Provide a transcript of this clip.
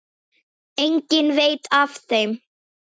Enginn veit af þeim.